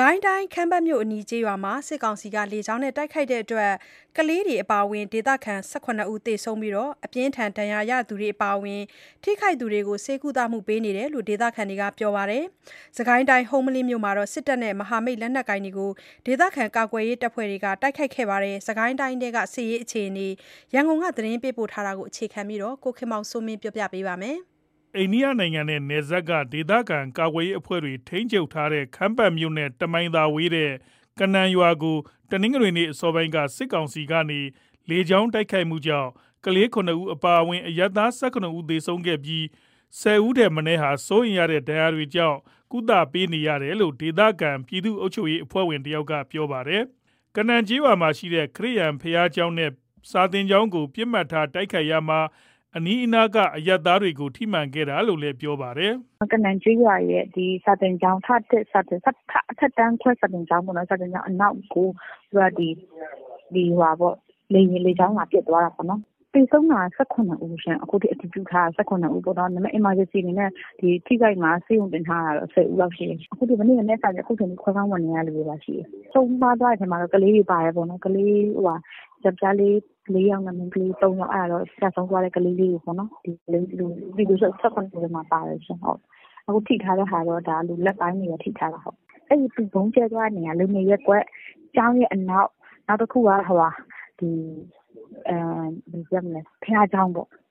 ကိုင်းတိုင်း ခမ်းပတ်မြို့အနီး ကျေးရွာမှာ စစ်ကောင်စီ လေကြောင်းတိုက်ခိုက်မှုကြောင့် ကလေးတွေ အပါအဝင် ဒေသခံ ၁၇ ဦး သေဆုံးခဲ့ပြီး၊ အပြင်းအထန် ဒဏ်ရာရသူတွေ အပါအဝင် ထိခိုက်သူတွေကို ဆေးကုသ ပေးနေရတယ်လို့ ဒေသခံတွေက ပြောပါတယ်။ စစ်ကိုင်းတိုင်း ဟုမ္ပလင်းမြို့မှာတော့ စစ်တပ်နဲ့ မဟာမိတ်လက်နက်ကိုင်တွေကို ဒေသခံ ကာကွယ်ရေး အဖွဲ့တွေက တိုက်ခိုက်ခဲ့တာပါ။ စစ်ကိုင်းတိုင်းထဲက စစ်ရေးအခြေအနေနဲ့ ပတ်သက်လို့ ရန်ကုန်က သတင်းပေးပို့ထားတာကို အခြေခံပြီး ကိုခင်မောင်စိုးမင်း ပြောပြမှာ ဖြစ်ပါတယ်။ အိန္ဒိယနိုင်ငံနဲ့နယ်စပ်က ဒေသခံ ကာကွယ်ရေးအဖွဲ့တွေ ထိန်းချုပ်ထားတဲ့ ခမ်းပတ်မြို့နဲ့ တမိုင်ခန့်သာဝေးတဲ့ ကနန်ရွာကို တနင်္ဂနွေနေ့ အစောပိုင်းမှာ စစ်ကောင်စီက လေကြောင်းတိုက်ခိုက်မှုကြောင့် ကလေး ၇ ဦး အပါအဝင် အရပ်သား ၁၇ ဦး သေဆုံးခဲ့ပြီး ၁၀ ဦးထက်မနည်းဟာ စိုးရိမ်ရတဲ့ ဒဏ်ရာတွေကြောင့် ကုသပေးနေရတယ်လို့ ဒေသခံ ပြည်သူ့အုပ်ချုပ်ရေး အဖွဲ့ဝင် တယောက်ကပြောပါတယ်။ ကနန်ရွာမှာရှိတဲ့ ခရစ်ယာန်ဘုရားကျောင်းနဲ့ စာသင်ကျောင်းကို ပစ်မှတ်ထား တိုက်ခိုက်ရာက အနီးအနားက အရပ်သားတွေကို ထိမှန်တာလို့လည်း ပြောပါတယ်။ “ကနန်ကျေးရွာရဲ့အထက်တန်းခွဲစာသင်ကျောင်းအနောက်ကို လေကြောင်း လာပစ်သွားတာပေါ့နော်။ သေဆုံးတာက အခုထိ အတည်ပြုထားတာ ၁၇ ဦး အရေးပေါ်အနေနဲ့ ဆေးရုံတင်ထားတာရတာ ၁၀ ဦးလောက်တော့ ရှိမယ်။ မနက်ကနေ အခုထိ ခွဲခန်းဝင်နေရသူတွေပါရှိတယ်။ ဆုံးပါးသွားတဲ့ထဲမှာတော့ ကလေးတွေပါတယ်ပေါ့နော်။ ယောက်ကျားလေး ၄ ယောက်နဲ့ မိန်းကလေး ၃ ယောက် အဲ့ဒါကတော့ ကျဆုံးသွားတဲ့ ကလေးလေးတွေပေါ့နော်။ အဲ့ ၁၇ ဦးထဲမှာ ပါတယ်ပေါ့နော်။ ထိထားတာ လူလတ်ပိုင်းတွေ ထိထားတာ။ အဲ့ဗုံးကြဲတဲ့နေရာက လူနေရပ်ကွက် ကျောင်းရဲ့အနောက် နောက်တခုက ဘုရားကျောင်းပေါ့။